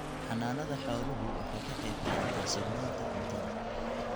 Xanaanada xooluhu waxay ka qayb qaadataa sugnaanta cuntada.